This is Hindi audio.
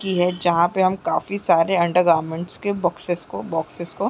-- की है जहाँ पे हम काफी सारे अंडरगारमेंट्स के बॉक्सेस को बॉक्सेस को --